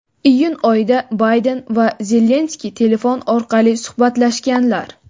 iyun oyida Bayden va Zelenskiy telefon orqali suhbatlashganlar.